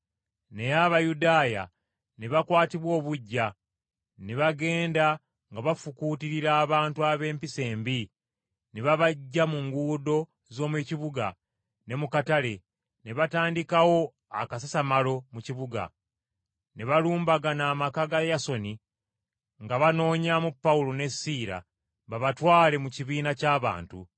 Naye Abayudaaya ne bakwatibwa obuggya, ne bagenda nga bafukuutirira abantu ab’empisa embi ne babaggya mu nguudo z’omu kibuga ne mu katale, ne batandikawo akasasamalo mu kibuga. Ne balumbagana amaka ga Yasooni nga banoonyaamu Pawulo ne Siira babatwale mu kibiina ky’abantu.